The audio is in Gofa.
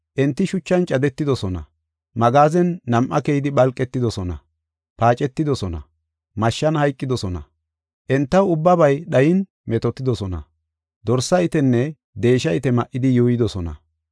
Enti shuchan cadetidosona; magaazen nam7a keyidi phalqetidosona; paacetidosona; mashshan hayqidosona; entaw ubbabay dhayin metootidosona. Dorsa itenne deesha ite ma7idi yuuyidosona.